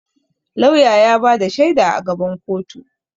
Lauya ya ba da shaida a gaban koto.